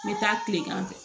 N bɛ taa kilegan fɛ